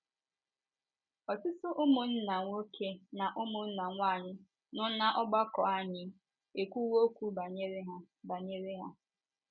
Ọtụtụ ụmụnna nwoke na ụmụnna nwanyị nọ n’ọgbakọ anyị ekwuwo okwu banyere ha banyere ha.